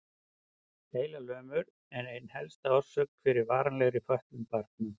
Heilalömun er ein helsta orsökin fyrir varanlegri fötlun barna.